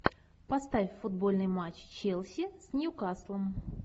поставь футбольный матч челси с ньюкаслом